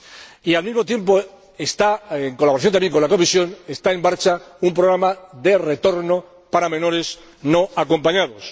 Y, al mismo tiempo, en colaboración también con la Comisión, está en marcha un programa de retorno para menores no acompañados.